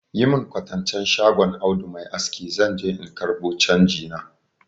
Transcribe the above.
Yi mun kwatancen shagon Audu mai aski zan je in ƙarbo canji na.